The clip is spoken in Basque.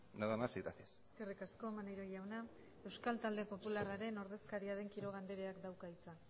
nada más y gracias eskerrik asko maneiro jauna euskal talde popularraren ordezkaria den quiroga andreak dauka hitza